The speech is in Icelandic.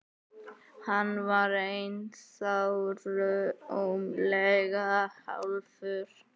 Hann var ennþá rúmlega hálfur.